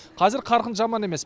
қазір қарқын жаман емес